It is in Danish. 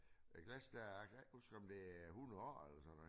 Med glas der kan ikke huske om det er 100 år eller sådan noget